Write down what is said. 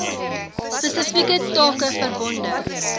spesifieke take verbonde